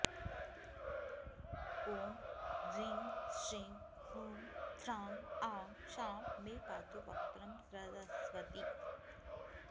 ॐ ह्रीं श्रीं हूं फ्रां आं शां मे पातु वक्त्रं सरस्वती